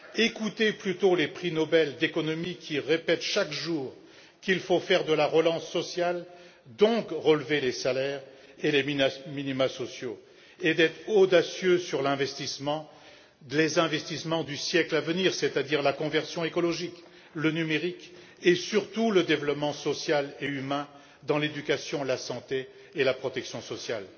Écoutez plutôt les prix Nobel d'économie qui répètent, chaque jour, qu'il faut faire de la relance sociale, donc relever les salaires et les minimas sociaux et être audacieux sur les investissements pour le siècle à venir, c'est à dire la conversion écologique, le numérique, et surtout le développement social et humain dans l'éducation, la santé et la protection sociale!